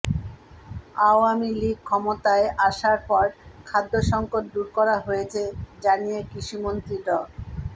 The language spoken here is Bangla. আওয়ামী লীগ ক্ষমতায় আসার পর খাদ্য সংকট দূর করা হয়েছে জানিয়ে কৃষিমন্ত্রী ড